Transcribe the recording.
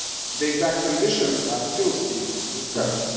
The precise conditions are still being discussed.